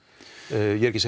ég er ekki